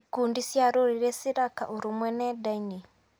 Ikundi cia rũrĩrĩ ciraka ũrũmwe nenda-inĩ.